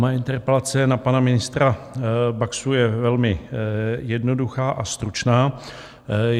Moje interpelace na pana ministra Baxu je velmi jednoduchá a stručná.